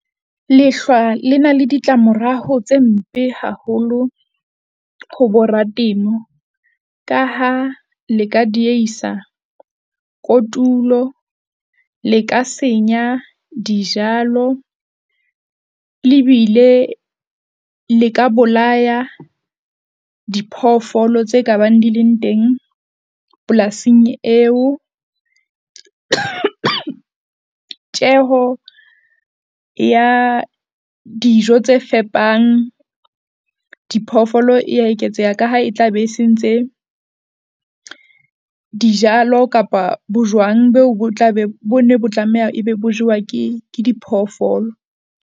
Lehlwa le na le ditlamorao tse mpe haholo, ho boratemo ka ha le ka dieisa kotulo. Le ka senya dijalo lebile le ka bolaya diphoofolo tse ka bang di leng teng polasing eo. Tjeho ya dijo tse fepang diphoofolo ya eketseha, ka ha e tla be se ntse dijalo kapa bojwang beo bo tla be bonne, bo tlameha e be bo jewa ke ke diphoofolo.